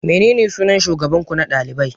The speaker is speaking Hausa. Menene sunan shugaban ku na dalibai?